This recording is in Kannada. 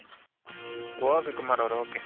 ok ಕುಮಾರ್ ಅವರೇ ok